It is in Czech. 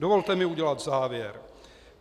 Dovolte mi udělat závěr.